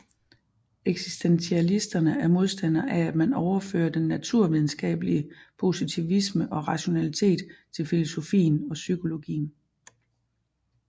Eksistentialisterne er modstandere af at man overfører den naturvidenskabelige positivisme og rationalitet til filosofien og psykologien